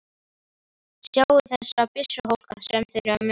Sjáðu þessa byssuhólka sem þeir eru með!